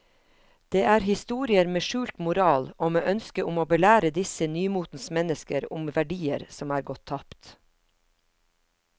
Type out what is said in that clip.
Det er historier med skjult moral og med ønske om å belære disse nymotens mennesker om verdier som er gått tapt.